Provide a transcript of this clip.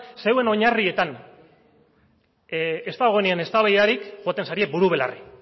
zeuen oinarrietan ez dagoenean eztabaidarik joaten zarie buru belarri